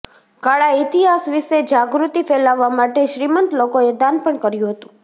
કાળા ઇતિહાસ વિશે જાગૃતિ ફેલાવવા માટે શ્રીમંત લોકોએ દાન પણ કર્યું હતું